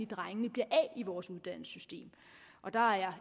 drengene bliver af i vores uddannelsessystem der er